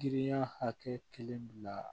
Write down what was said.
Giriya hakɛ kelen bila